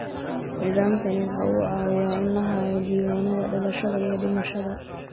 Nidaamkani waxa uu caawiyaa in la hayo diiwaannada dhalashada iyo dhimashada.